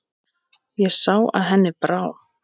Ég sá að henni brá.